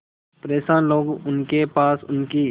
परेशान लोग उनके पास उनकी